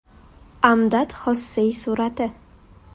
Amdad Xossey surati.